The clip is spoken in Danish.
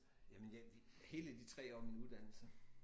Jamen jeg de hele de 3 år af min uddannelse